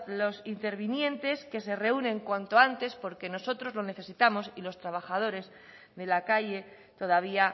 los intervinientes que se reúnan cuanto antes porque nosotros lo necesitamos y los trabajadores de la calle todavía